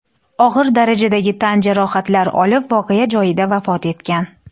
og‘ir darajadagi tan jarohatlari olib voqea joyida vafot etgan.